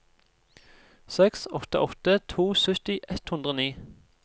seks åtte åtte to sytti ett hundre og ni